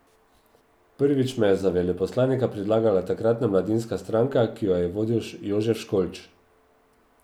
Prvič me je za veleposlanika predlagala takratna mladinska stranka, ki jo je vodil Jožef Školč.